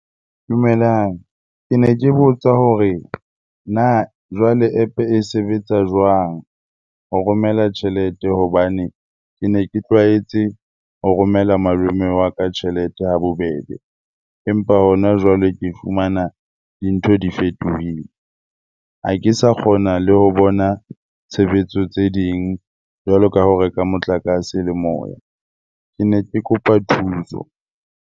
Dumelang. Ke ne ke botsa hore na jwale App e sebetsa jwang ho romela tjhelete? Hobane ke ne ke tlwaetse ho romela malome wa ka tjhelete ha bobebe empa hona jwale ke fumana dintho di fetohile. Ha ke sa kgona le ho bona tshebetso tse ding jwalo ka ho reka motlakase le moya. Ke ne ke kopa thuso.